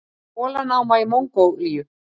Kolanáma í Mongólíu.